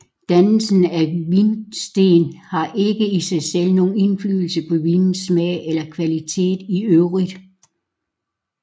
Dannelsen af vinsten har ikke i sig selv nogen indflydelse på vinens smag eller kvalitet i øvrigt